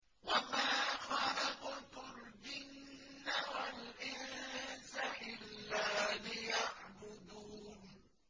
وَمَا خَلَقْتُ الْجِنَّ وَالْإِنسَ إِلَّا لِيَعْبُدُونِ